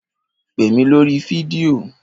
Pè mí lórí fídíò?